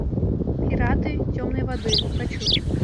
пираты темной воды хочу